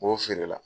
N b'o feere la